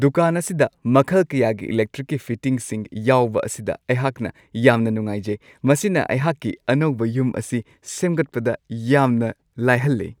ꯗꯨꯀꯥꯟ ꯑꯁꯤꯗ ꯃꯈꯜ ꯀꯌꯥꯒꯤ ꯏꯂꯦꯛꯇ꯭ꯔꯤꯛꯀꯤ ꯐꯤꯇꯤꯡꯁꯤꯡ ꯌꯥꯎꯕ ꯑꯁꯤꯗ ꯑꯩꯍꯥꯛꯅ ꯌꯥꯝꯅ ꯅꯨꯡꯉꯥꯏꯖꯩ ꯫ ꯃꯁꯤꯅ ꯑꯩꯍꯥꯛꯀꯤ ꯑꯅꯧꯕ ꯌꯨꯝ ꯑꯁꯤ ꯁꯦꯝꯒꯠꯄꯗ ꯌꯥꯝꯅ ꯂꯥꯏꯍꯜꯂꯤ ꯫